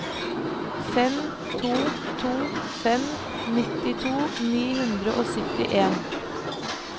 fem to to fem nittito ni hundre og syttien